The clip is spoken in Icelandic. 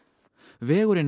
vegurinn